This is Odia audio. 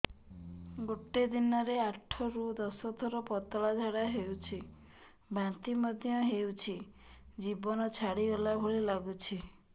ଗୋଟେ ଦିନରେ ଆଠ ରୁ ଦଶ ଥର ପତଳା ଝାଡା ହେଉଛି ବାନ୍ତି ମଧ୍ୟ ହେଉଛି ଜୀବନ ଛାଡିଗଲା ଭଳି ଲଗୁଛି